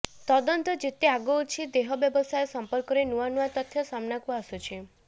ତଦନ୍ତ ଯେତେ ଆଗଉଛି ଦେହ ବ୍ୟବସାୟ ସମ୍ପର୍କରେ ନୂଆ ନୂଆ ତଥ୍ୟ ସାମ୍ନାକୁ ଆସୁଛି